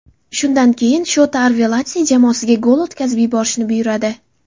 Shundan keyin Shota Arveladze jamoasiga gol o‘tkazib yuborishni buyuradi.